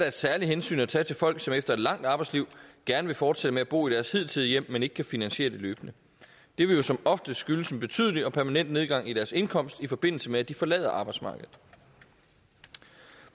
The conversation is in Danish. et særligt hensyn at tage til folk som efter et langt arbejdsliv gerne vil fortsætte med at bo i deres hidtidige hjem men ikke kan finansiere det løbende det vil jo som oftest skyldes en betydelig og permanent nedgang i deres indkomst i forbindelse med at de forlader arbejdsmarkedet